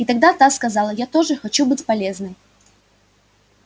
и тогда та сказала я тоже хочу быть полезной